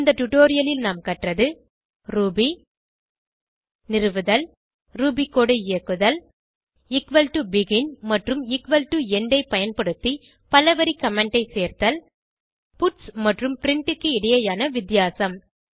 இந்த டுடோரியலில் நாம் கற்றது ரூபி நிறுவுதல் ரூபி கோடு ஐ இயக்குதல் begin மற்றும் end ஐ பயன்படுத்தி பலவரி கமெண்ட் ஐ சேர்த்தல் பட்ஸ் மற்றும் பிரின்ட் க்கு இடையேயான வித்தியாசம்